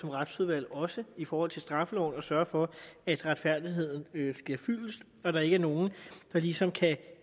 retsudvalget også i forhold til straffeloven at sørge for at retfærdigheden sker fyldest og at der ikke er nogen der ligesom kan